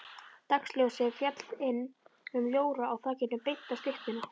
Dagsljósið féll inn um ljóra á þakinu beint á styttuna.